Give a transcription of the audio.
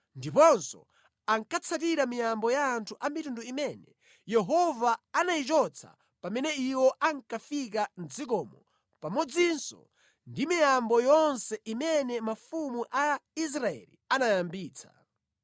ndiponso ankatsatira miyambo ya anthu a mitundu imene Yehova anayichotsa pamene iwo ankafika mʼdzikomo pamodzinso ndi miyambo yonse imene mafumu a Israeli anayambitsa.